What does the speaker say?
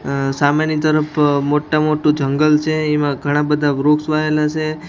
આ સામેની તરફ મોટા મોટુ જંગલ છે એમાં ઘણાં બધા વૃક્ષ વાયેલા સે .